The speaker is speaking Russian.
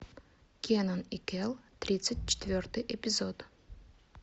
кенан и кел тридцать четвертый эпизод